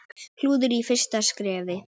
Klúður í fyrsta skrefi.